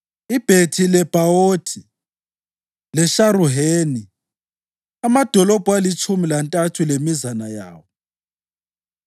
iBhethi-Lebhawothi leSharuheni, amadolobho alitshumi lantathu lemizana yawo;